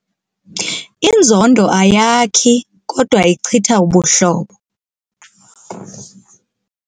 Inzondo ayakhi kodwa ichitha ubuhlobo.